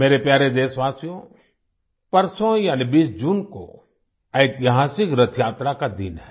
मेरे प्यारे देशवासियो परसों यानि 20 जून को ऐतिहासिक रथयात्रा का दिन है